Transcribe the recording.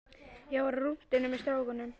Ég var á rúntinum með strákunum.